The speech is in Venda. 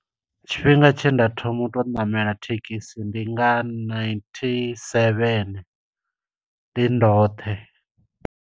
Tshifhinga tshe nda thoma uto ṋamela thekhisi ndi nga na ninety-seven, ndi ndoṱhe.